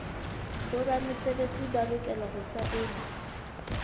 boramesebetsi ba lokela ho saena